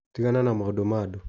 Tigana na maũndũ ma andũ.